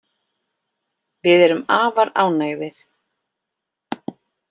Við erum afar ánægðir